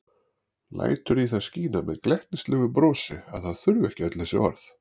Lætur í það skína með glettnislegu brosi að það þurfi ekki öll þessi orð.